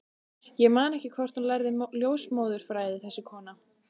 Ég man ekki hvort hún lærði ljósmóðurfræði, þessi kona.